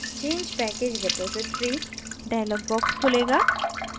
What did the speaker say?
change package repository dialog box खुलेगा